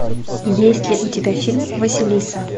есть ли у тебя фильм василиса